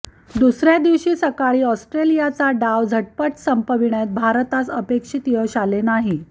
दुसऱ्या दिवशी सकाळी ऑस्ट्रेलियाचा डाव झटपट संपविण्यात भारतास अपेक्षित यश आले नाही